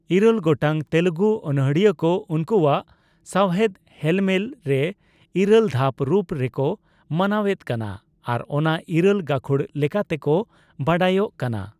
ᱤᱨᱟᱹᱞ ᱜᱚᱴᱟᱝ ᱛᱮᱞᱮᱜᱩ ᱚᱱᱚᱲᱦᱤᱭᱟᱹ ᱠᱚ ᱩᱱᱠᱩᱣᱟᱜ ᱥᱟᱣᱦᱮᱫ ᱦᱮᱞᱢᱮᱞ ᱨᱮ ᱤᱨᱟᱹᱞ ᱫᱷᱟᱯ ᱨᱩᱯ ᱨᱮ ᱠᱚ ᱢᱟᱱᱟᱣᱮᱫ ᱠᱟᱱᱟ ᱟᱨ ᱚᱱᱟ ᱤᱨᱟᱹᱞ ᱜᱟᱠᱷᱩᱲ ᱞᱮᱠᱟᱛᱮ ᱠᱚ ᱵᱟᱰᱟᱭᱚᱜ ᱠᱟᱱᱟ ᱾